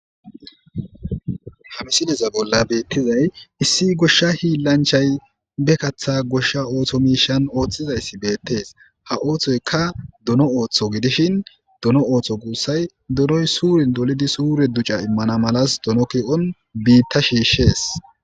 Ha missileza bola betizay issi gosha hilanchay ba kata gosha oso miishshan otizays betes ha osoyika dono otho gidishin dono oso gusay donay suren dolidi suren duca iman malas dono keon bita shiishshdes.